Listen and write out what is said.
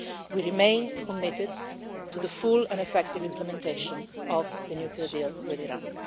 We remain committed to the full and effective implementation of the nuclear deal with Iran.